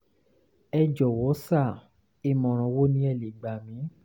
ẹ jọ̀wọ́ sà ìmọ̀ràn wo ni ẹ lè gbà mí?